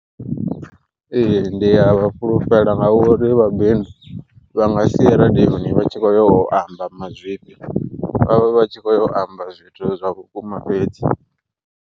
Ee ndi ya vha fhulufhela ngauri vhabebi vha nga si ye radiyoni vha tshi kho yo amba mazwifhi, vhavha vhatshi khoya u amba zwithu zwa vhukuma fhedzi.